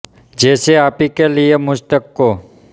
जैसे आप ही के लिए मुझ तक को